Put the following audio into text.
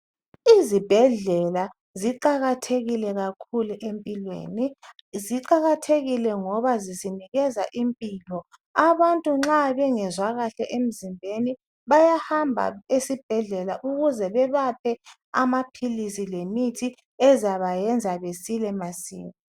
Izibhedlela ziqakathekile kakhulu empilweni. Ziqakathekile ngoba zisinikeza impilo. Abantu nxa bengezwa kuhle emzimbeni, bayahamba esibhedlela ukuze babaphe amaphilisi lemithi ezabenza basile masinya.